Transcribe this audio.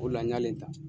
O de la n y'ale ta